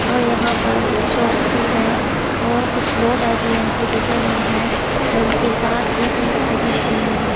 और यहाँ पर एक शॉप भी हैऔर कुछ लोग हैंजो यहाँ से गुजर रहे हैं और इसके साथ ही पेड़-पौधे लगे हुए हैं।